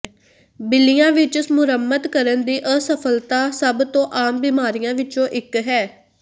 ਬਿੱਲੀਆਂ ਵਿਚ ਮੁਰੰਮਤ ਕਰਨ ਦੀ ਅਸਫਲਤਾ ਸਭ ਤੋਂ ਆਮ ਬੀਮਾਰੀਆਂ ਵਿੱਚੋਂ ਇੱਕ ਹੈ